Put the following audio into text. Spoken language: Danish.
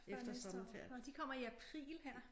Før næste år nåh de kommer i april her